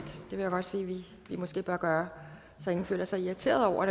vil jeg godt sige vi måske bør gøre så ingen føler sig irriteret over